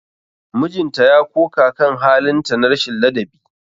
Mijinta ya koka kan halin ta na rashin ladabi.